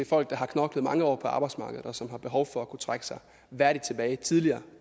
folk der har knoklet mange år på arbejdsmarkedet og som har behov for at kunne trække sig værdigt tilbage tidligere